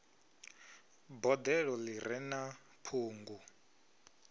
boḓelo ḓi re na ṱhungu